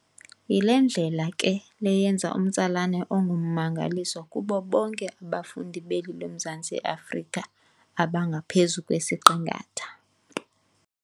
Yile ndlela ke le yenza umtsalane ongummangaliso kubo bonke abafundi beli loMzantsi Afrika abangaphezu kwesiqingatha.